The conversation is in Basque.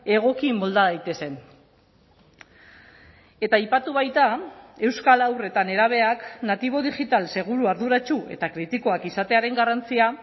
egoki molda daitezen eta aipatu baita euskal haur eta nerabeak natibo digital seguru arduratsu eta kritikoak izatearen garrantzia